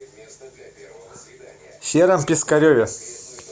сером пискареве